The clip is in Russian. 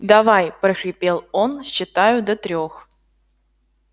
давай прохрипел он считаю до трёх